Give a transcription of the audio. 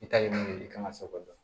I ta ye min ye i kan ka se k'o dɔn